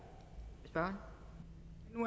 bare